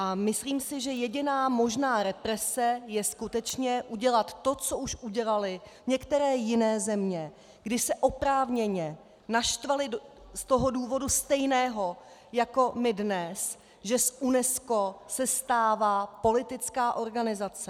A myslím si, že jediná možná represe je skutečně udělat to, co už udělaly některé jiné země, kdy se oprávněně naštvaly z toho důvodu stejného jako my dnes, že z UNESCO se stává politická organizace.